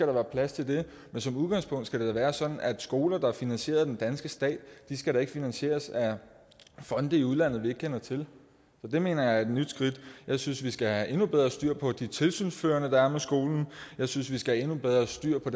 være plads til det men som udgangspunkt skal det da være sådan at skoler der er finansieret af den danske stat ikke skal finansieres af fonde i udlandet vi ikke kender til det mener jeg er et nyt skridt jeg synes vi skal have endnu bedre styr på de tilsynsførende der er skolen jeg synes vi skal have endnu bedre styr på